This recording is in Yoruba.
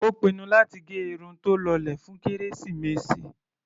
Ó pinnu láti gẹ irun tó lọlẹ̀ fún kérésìmesì.